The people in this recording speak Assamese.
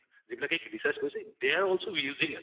যিবিলাকে research কৰিছে they are also using it